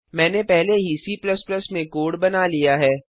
मैंने पहले ही C में कोड बना लिया है